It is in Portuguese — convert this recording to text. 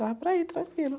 Dava para ir tranquilo.